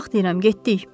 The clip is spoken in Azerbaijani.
Qalx deyirəm, getdik.